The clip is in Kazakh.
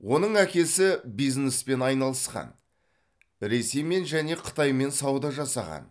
оның әкесі бизнеспен айналысқан ресеймен және қытаймен сауда жасаған